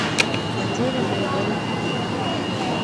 потерянные моряки